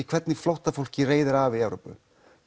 hvernig flóttafólki reiðir af í Evrópu